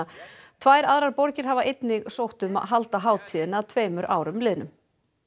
tvær aðrar borgir hafa einnig sótt um að halda hátíðina að tveimur árum liðnum